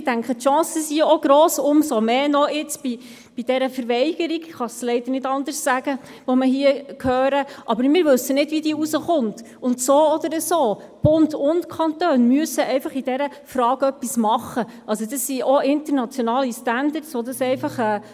Die Chancen sind auch gross, umso mehr bei der Verweigerung, die wir hier heraushören, ich kann es leider nicht anders sagen.